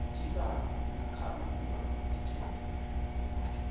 amadiba nakakhululwa ejele